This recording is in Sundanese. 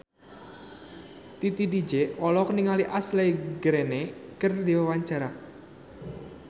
Titi DJ olohok ningali Ashley Greene keur diwawancara